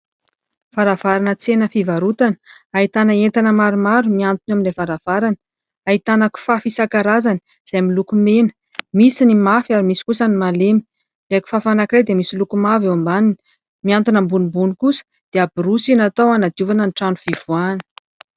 Varavarana tsena fivarotana. Ahitana entana maromaro mihantona eo amin'ilay varavarana. Ahitana kifafa isan-karazany izay miloko mena, misy ny mafy ary misy ny malemy. Ilay kifafa anankiray dia misy loko mavo eo ambaniny. Mihantona ambonimbony kosa dia borosy natao hanadiovana ny trano fivoahana.